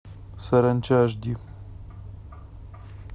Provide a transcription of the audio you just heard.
саранча аш ди